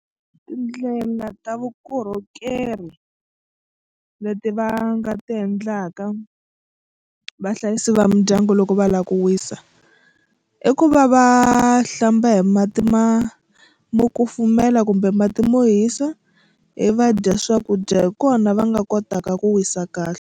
Tindlela ta vukorhokeri leti va nga ti endlaka vahlayisi va mindyangu loko va lava ku wisa i ku va va hlamba hi mati ma mo kufumela kumbe mati mo hisa ivi va dya swakudya hi kona va nga kotaka ku wisa kahle.